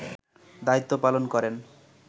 দায়িত্ব পালন করেন